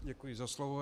Děkuji za slovo.